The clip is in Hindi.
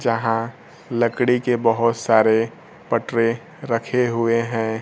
जहां लकड़ी के बहुत सारे पटरे रखे हुए हैं।